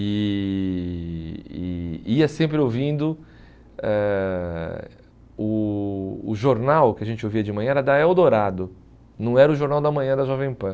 e e ia sempre ouvindo eh o o jornal que a gente ouvia de manhã era da Eldorado, não era o Jornal da Manhã da Jovem Pan.